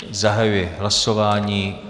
Zahajuji hlasování.